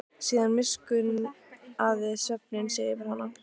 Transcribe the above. Síðan miskunnaði svefninn sig yfir hana.